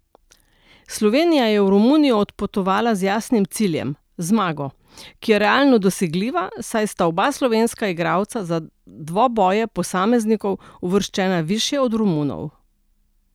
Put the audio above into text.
Slovenija je v Romunijo odpotovala z jasnim ciljem, zmago, ki je realno dosegljiva, saj sta oba slovenska igralca za dvoboje posameznikov uvrščena višje od Romunov.